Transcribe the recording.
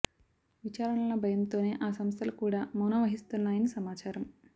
విచారణల భయంతోనే ఆ సంస్థలు కూడా మౌనం వహిస్తున్నాయని సమాచారం